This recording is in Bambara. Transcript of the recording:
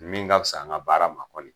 Min ka fisa an ka baara ma kɔni.